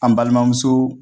An balimanmuso